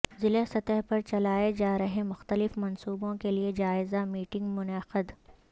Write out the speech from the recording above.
ضلع سطح پر چلائے جارہے مختلف منصوبوں کے لئےجائزہ میٹنگ منعقد